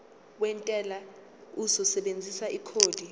wentela uzosebenzisa ikhodi